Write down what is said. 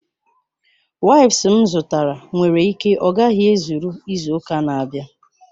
Waips m zụtara nwere ike ọ gaghị ezuru izu ụka na-abịa